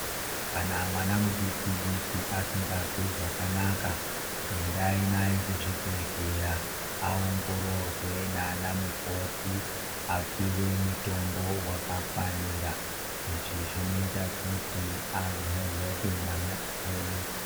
Kana mwana mudikindiki asingazwi zvakanaka endai naye kuzvibhehleya aongororwe nanamukoti apuwe mutombo wakafanira izvi zvinoita kuti amhoroke mwana wenyu.